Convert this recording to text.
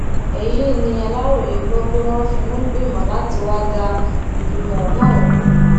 èyí ni aláròye gbọ pé wọn fi ń gbìmọ láti wáá da ìlẹgbẹmọ náà rú